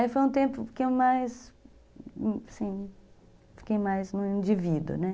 Aí foi um tempo que eu mais, assim, fiquei mais no indivíduo, né?